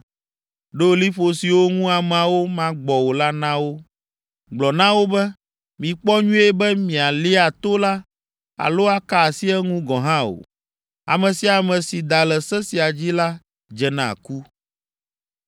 Ɖo liƒo siwo ŋu ameawo magbɔ o la na wo. Gblɔ na wo be, ‘Mikpɔ nyuie be mialia to la alo aka asi eŋu gɔ̃ hã o. Ame sia ame si da le se sia dzi la dze na ku.